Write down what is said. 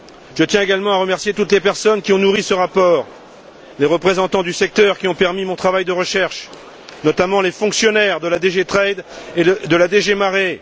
Je tiens également à remercier toutes les personnes qui ont nourri ce rapport, les représentants du secteur qui ont permis mon travail de recherche, notamment les fonctionnaires de DG Trade et de la DG Mare.